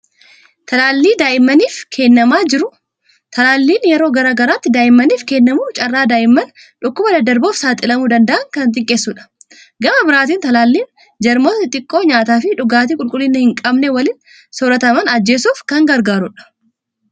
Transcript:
Talaallii daa'immaniif kennamaa jiru. Talaalliin yeroo gara garaatti daa'immaniif kennamu carraa daa'imman dhukkuba daddarboof saaxilamuu danda'an kan xiqqeessudha. Gama biraatiin talaalliin jarmoota xixiqqoo nyaataa fi dhugaatii qulqullina hin qabne waliin soorataman ajjeesuuf kan gargaarudha.